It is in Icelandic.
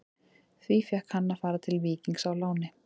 Því fékk hann að fara til Víkings á láni.